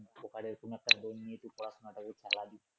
সরকারের কোন একটা loan নিয়ে তুই পড়াশুনাটাকে চালাবি